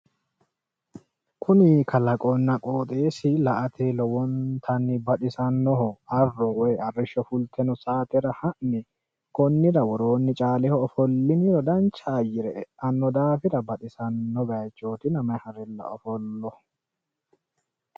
Kuni kalaqonna qooxeessi la'ate lowontanni baxisannoho arro woyi arrisho fulte noo saatera ha'ne konnira woroonni caaleho ofolliniro dancha ayyire eanno daafira baxisanno bayiichotina mayi marella ofollo.